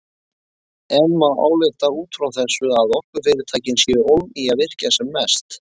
En má álykta út frá þessu að orkufyrirtækin séu ólm í virkja sem mest?